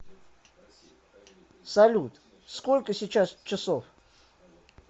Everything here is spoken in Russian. салют сколько сейчас часов